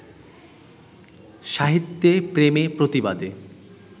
সাহিত্যে প্রেমে-প্রতিবাদে